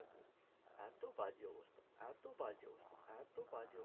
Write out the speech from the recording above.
এতো বাজে অবস্থা এতো বাজে অবস্থা এতো বাজে অবস্থা